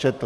Četl.